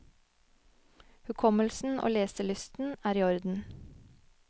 Hukommelsen og leselysten er i orden.